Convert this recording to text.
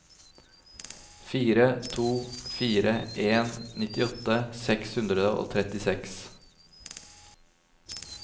fire to fire en nittiåtte seks hundre og trettiseks